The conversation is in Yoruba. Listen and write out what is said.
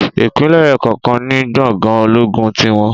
Ìpínlè kọọkan ní gbòngàn ológun tiwon